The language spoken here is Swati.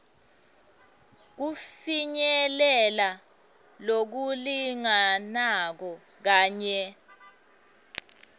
kufinyelela lokulinganako kanye